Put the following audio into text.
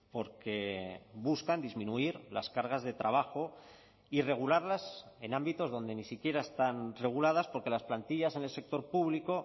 porque buscan disminuir las cargas de trabajo y regularlas en ámbitos donde ni siquiera están reguladas porque las plantillas en el sector público